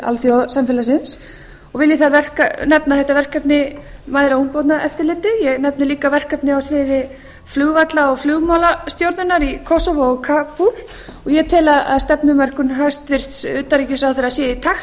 alþjóðasamfélagsins og vil ég þar nefna þetta verkefni mæðra og ungbarnaeftirlitið ég nefni líka verkefni á sviði flugvalla og flugmálastjórnunar í kosovo og kabúl og ég tel að stefnumörkun hæstvirts utanríkisráðherra sé í takt við